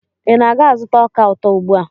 Ị na-aga azụta ọka ụtọ ugbua?